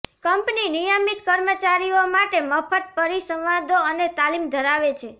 company નિયમિત કર્મચારીઓ માટે મફત પરિસંવાદો અને તાલીમ ધરાવે છે